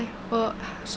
og